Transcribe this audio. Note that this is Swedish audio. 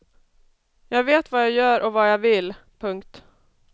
Jag vet vad jag gör och vad jag vill. punkt